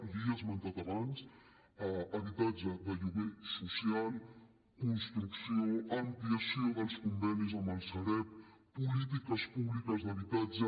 l’hi he esmentat abans habitatge de lloguer social construcció ampliació dels convenis amb la sareb polítiques públiques d’habitatge